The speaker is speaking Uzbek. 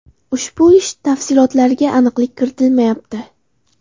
Ushbu ish tafsilotlariga aniqlik kiritilmayapti.